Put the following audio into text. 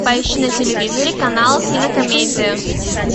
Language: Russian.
поищи на телевизоре канал кинокомедия